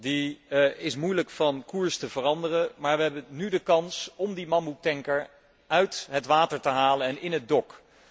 Die is moeilijk van koers te veranderen, maar wij hebben nu de kans om die mammoettanker uit het water te halen en in het dok.